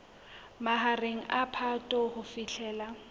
mahareng a phato ho fihlela